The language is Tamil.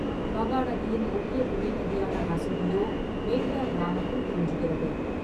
மகாநதியின் முக்கிய துணை நதியான ஹசுதியோ மேந்திரா கிராமத்தில் தோன்றுகிறது.